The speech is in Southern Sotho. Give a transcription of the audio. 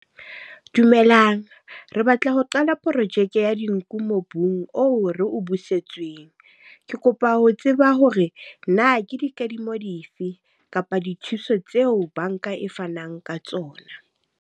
Dumelang, re batla ho qala projeke ya dinku mobung oo re o busetsweng. Ke kopa ho tseba hore na ke dikadimo dife kapa dithuso tseo banka e fanang ka tsona.